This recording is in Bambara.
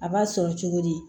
A b'a sɔrɔ cogo di